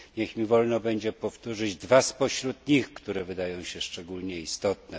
Niech mi wolno będzie powtórzyć dwa spośród nich, które wydają się szczególnie istotne.